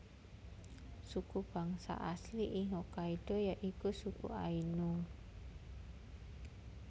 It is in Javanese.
Suku bangsa asli ing Hokkaido ya iku suku Ainu